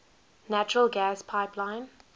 natural gas pipeline